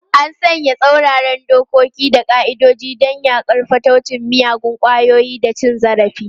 An sanya tsauraran dokoki da ƙa'idodi don yaƙar fataucin miyagun ƙwayoyi da cin zarafi.